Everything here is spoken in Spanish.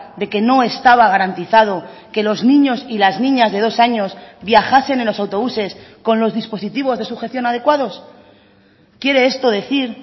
de que no estaba garantizado que los niños y las niñas de dos años viajasen en los autobuses con los dispositivos de sujeción adecuados quiere esto decir